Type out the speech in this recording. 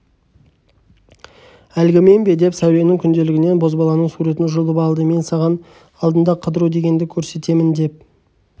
әлгімен бе деп сәуленің күнделігінен бозбаланың сүретін жұлып алды мен саған алдында қыдыру дегенді көрсетемін деп